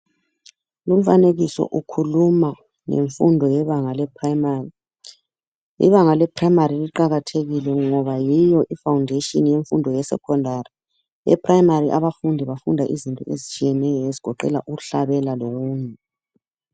Lumfanekiso ukhuluma ngemfundo yebanga ibanga le primaray ibanga leprimary liqakathekile ngoba yiyo ifoundation yemfundo yesecondary eprimary abafundi bafunda izifundo ezitshiyeyeneyo ezigoqela ukuhlabela lokunye.